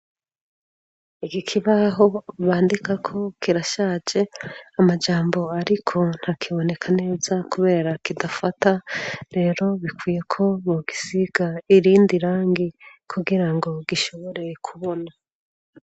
Igi kibaho bandikako kirashaje amajambo, ariko nta kiboneka neza, kubera kidafata rero bikwiyeko mu gisiga irindi rangi kugira ngo gishoboreye kubona.